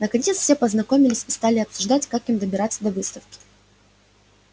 наконец все познакомились и стали обсуждать как им добираться до выставки